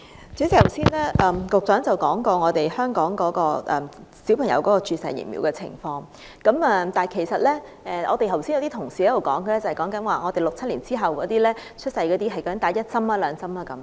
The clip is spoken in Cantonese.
主席，局長剛才提到香港小朋友注射疫苗的情況，但有同事剛剛所說的是，在1967年以後出生的人不知自己注射了一劑還是兩劑疫苗。